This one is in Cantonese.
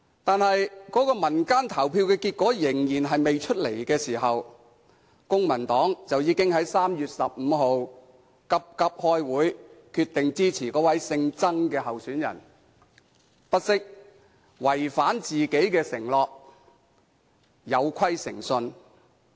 但是，那個民間投票還未有結果，公民黨已經在3月15日急急開會，決定支持那位姓曾的候選人，不惜違反自己的承諾，有虧誠信。